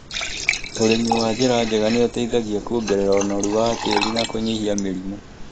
ũrimi wa njĩra njega nĩ ũteithagia kũongerera ũnoru wa tĩĩri na kũnyihia mĩrimũ